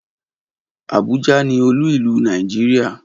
Abuja ni olú ìlú Nàìjíríà.